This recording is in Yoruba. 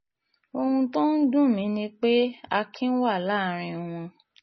ohun tó ń dùn mí ni pé akin wà láàrin wọn